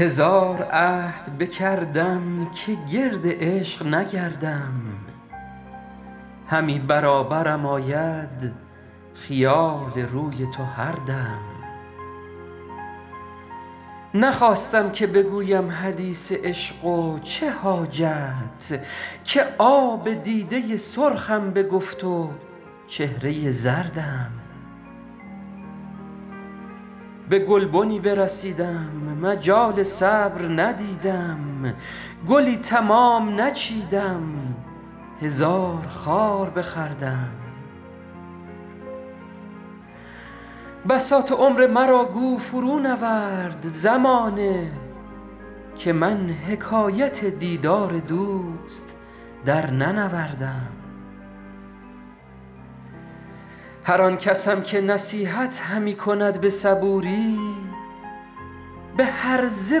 هزار عهد بکردم که گرد عشق نگردم همی برابرم آید خیال روی تو هر دم نخواستم که بگویم حدیث عشق و چه حاجت که آب دیده سرخم بگفت و چهره زردم به گلبنی برسیدم مجال صبر ندیدم گلی تمام نچیدم هزار خار بخوردم بساط عمر مرا گو فرونورد زمانه که من حکایت دیدار دوست درننوردم هر آن کسم که نصیحت همی کند به صبوری به هرزه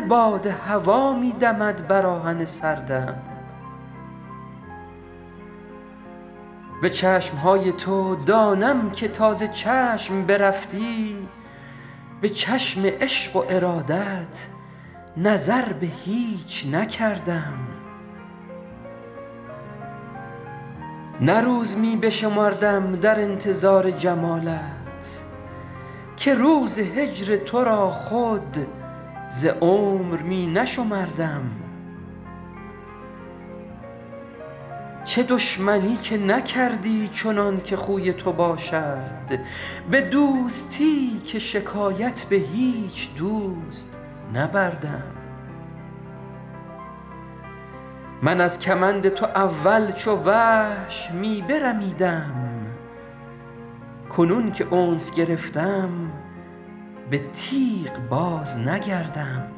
باد هوا می دمد بر آهن سردم به چشم های تو دانم که تا ز چشم برفتی به چشم عشق و ارادت نظر به هیچ نکردم نه روز می بشمردم در انتظار جمالت که روز هجر تو را خود ز عمر می نشمردم چه دشمنی که نکردی چنان که خوی تو باشد به دوستی که شکایت به هیچ دوست نبردم من از کمند تو اول چو وحش می برمیدم کنون که انس گرفتم به تیغ بازنگردم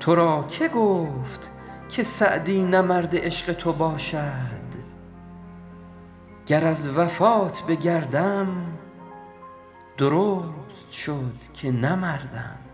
تو را که گفت که سعدی نه مرد عشق تو باشد گر از وفات بگردم درست شد که نه مردم